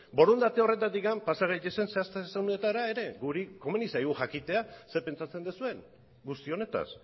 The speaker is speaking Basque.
borondate horretatik pasa gaitezen zehaztasunetara ere guri komeni zaigu jakitea zer pentsatzen duzuen guzti honetaz